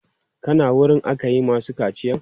Ka na wurin aka yi masu kaciyan?